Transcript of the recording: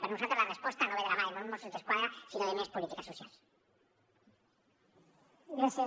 per nosaltres la resposta no ve de la mà de més mossos d’esquadra sinó de més polítiques socials